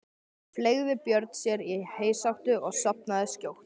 Fleygði Björn sér í heysátu og sofnaði skjótt.